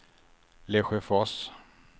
Lesjöfors